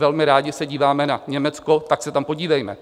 Velmi rádi se díváme na Německo, tak se tam podívejme.